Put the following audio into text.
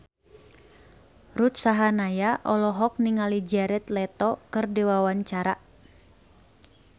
Ruth Sahanaya olohok ningali Jared Leto keur diwawancara